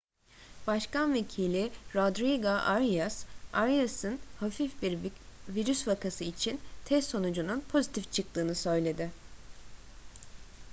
başkan vekili rodrigo arias arias'ın hafif bir virüs vakası için test sonucunun pozitif çıktığını söyledi